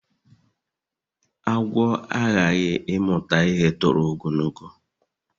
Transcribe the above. Agwu aghaghị ịmụta ihe tọrọ ogologo